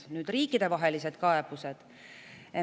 Nüüd riikidevahelised kaebused.